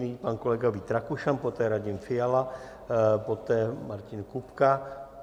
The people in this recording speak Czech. Nyní pan kolega Vít Rakušan, poté Radim Fiala, poté Martin Kupka.